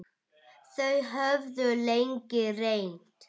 Þau höfðu lengi reynt.